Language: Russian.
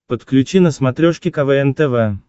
подключи на смотрешке квн тв